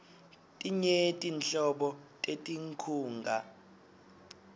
tinyenti nhlobo tetinkhunga